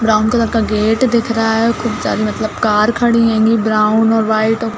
brown colour का gate दिख रहा है खूब सारी मतलब कार कड़ी हेंगी ब्राउन और व्हाइट और --